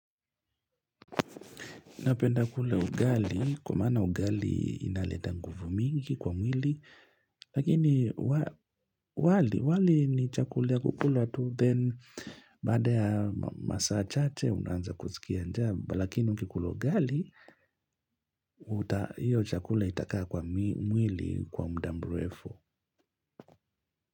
Napenda kula ugali, kwa maana ugali inaleta nguvu mingi kwa mwili, lakini wali ni chakula ya kukula tu, then baada ya masaa chache unaanza kusikia njaa, lakini ukikula ugali, hiyo chakula itakaa kwa mwili kwa mda mrefu.